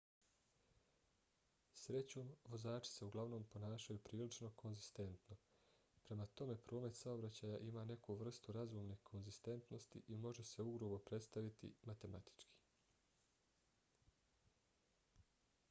srećom vozači se uglavnom ponašaju prilično konzistentno. prema tome promet saobraćaja ima neku vrstu razumne konzistentnosti i može se ugrubo predstaviti matematički